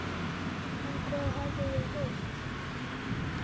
En hvað hafði ég heyrt?